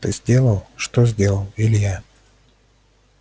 ты сделал что сделал илья